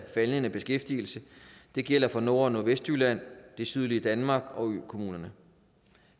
faldende beskæftigelse det gælder for nord og nordvestjylland det sydlige danmark og økommunerne